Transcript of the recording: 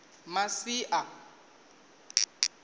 masia